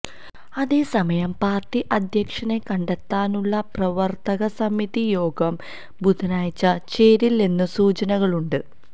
അതേസമയം പാര്ട്ടി അധ്യക്ഷനെ കണ്ടെത്താനുള്ള പ്രവര്ത്തക സമിതി യോഗം ബുധനാഴ്ച ചേരില്ലെന്നു സൂചനകളുണ്ട്